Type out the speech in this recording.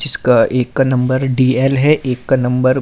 जिसका एक का नंबर डी_एल है एक का नंबर --